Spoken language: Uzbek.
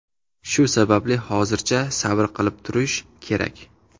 Shu sababli hozircha sabr qilib turish kerak.